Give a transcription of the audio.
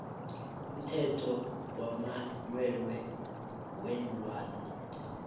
umthetho wamalwelwe weenlwana